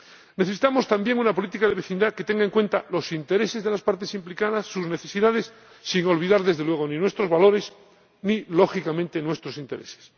Necesitamos también una política de vecindad que tenga en cuenta los intereses de las partes implicadas, sus necesidades, sin olvidar, desde luego, ni nuestros valores ni, lógicamente, nuestros intereses.